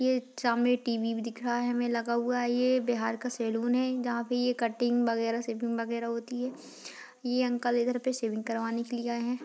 ये सामने टीवी भी दिख रहा है हमें लगा हुआ ये बिहार का सैलून है जहाँ पर ये कटिंग वाग्रेह शेविंग वाग्रेह होती है ये अंकल इधर पर शेविंग करवाने के लिए आये हैं।